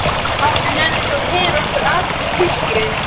Pabbi, nennir þú að keyra okkur Arnar í kirkju?